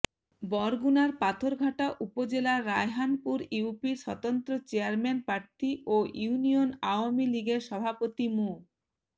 বরগুনার পাথরঘাটা উপজেলার রায়হানপুর ইউপির স্বতন্ত্র চেয়ারম্যান প্রার্থী ও ইউনিয়ন আওয়ামী লীগের সভাপতি মো